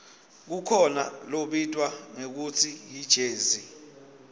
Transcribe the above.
kukhona lobitwa ngekutsi yijezi